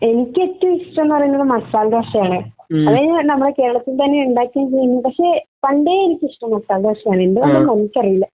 എനിക്ക് ഏറ്റവും ഇഷ്ടം എന്ന് പറയുന്നത് മസാലദോശയാണ്. അത് നമ്മുടെ കേരളത്തിൽത്തന്നെ ഉണ്ടാക്കുകയും ചെയ്യും. പക്ഷെ പണ്ടേ എനിക്കിഷ്ടം മസാലദോശയാണ്. എന്തുകൊണ്ടാണെന്ന് എനിക്കറിയില്ല.